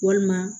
Walima